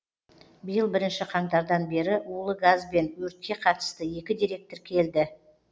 биыл бірінші қаңтардан бері улы газ бен өртке қатысты екі дерек тіркелді